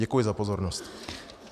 Děkuji za pozornost.